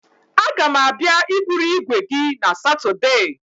A ga m abịa iburu igwe gị na Satudee.